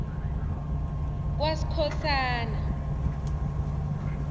kwaskhosana